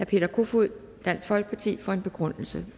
peter kofod dansk folkeparti for en begrundelse